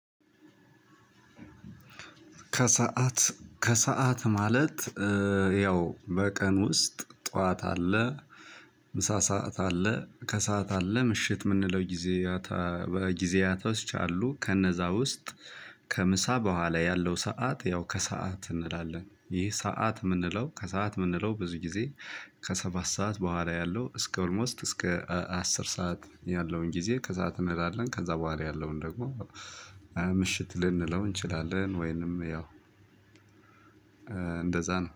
ከሰአት ማለት ያው በቀን ውስጥ ጠዋት አለ ምሳ ሰዓት አለ ከሰአት አለ ምሽት ምንለው ጊዜ። በጊዜያቶች አሉ ከነዛ ውስጥ ከምሳ በኋላ ያለው ሰዓት ያው ከሰአት እንላለን። ይህ ሰዓት ምንለው ከሰአት ምንለው ብዙ ጊዜ ከሰባት ሰዓት በኋላ ያለው እስከ ኦልሞስት እስከ አስር ሰዓት ያለውን ጊዜ ከሰዐት እንላለን። ከዛ በኋላ ያለውን ደግሞ ምሽት ልንለው እንችላለን። ወይንም ያው እንደዛ ነው